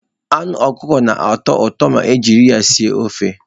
Anu Ọkụkọ na-atọ ụtọ ma ejiri ya sie ofe.